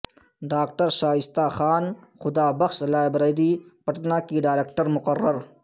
doctor Shaista Khan Khuda Bakhsh library Patna کی director مقرر